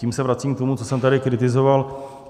Tím se vracím k tomu, co jsem tady kritizoval.